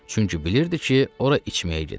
Çünki bilirdi ki, ora içməyə gedir.